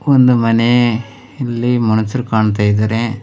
ಒಂದು ಮನೆಯಲ್ಲಿ ಮನುಷ್ರು ಕಾಣ್ತಾ ಇದ್ದಾರೆ.